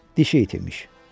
Dişi iti imiş.